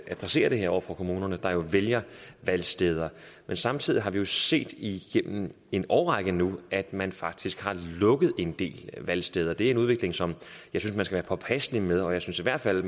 adresserer det her over for kommunerne der jo vælger valgsteder samtidig har vi jo set igennem en årrække nu at man faktisk har lukket en del valgsteder det er en udvikling som jeg synes man skal være påpasselig med og jeg synes i hvert fald